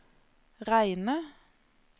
Reine